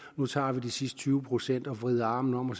nu tager vi de sidste tyve procent og vrider armen om på